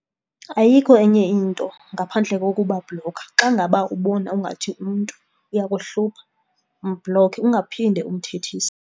Ayikho enye into ngaphandle kokubabhlokha. Xa ngaba ubona ingathi umntu uyakuhlupha umbhlokhe ungaphinde umthethise.